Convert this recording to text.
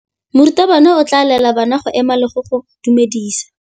Morutabana o tla laela bana go ema le go go dumedisa.